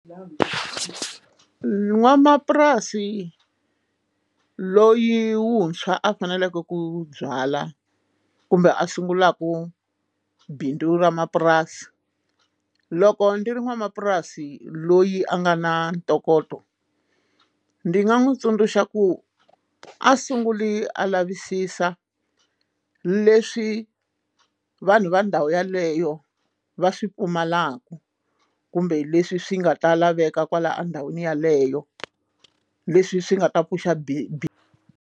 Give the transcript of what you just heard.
N'wanamapurasi loyi wuntshwa a faneleke ku byala kumbe a sungulaka bindzu ra mapurasi loko ndzi ri n'wanamapurasi loyi a nga na ntokoto ndzi nga n'wi tsundzuxa ku a sunguli a lavisisa leswi vanhu va ndhawu yeleyo va swi pfumalaka kumbe leswi swi nga ta laveka kwala endhawini yeleyo leswi swi nga ta pfuxa bi bi.